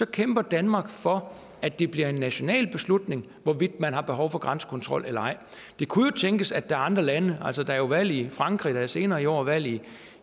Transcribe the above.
kæmper danmark for at det bliver en national beslutning hvorvidt man har behov for grænsekontrol det kunne jo tænkes at der er andre lande altså der er valg i frankrig og der er senere i år valg i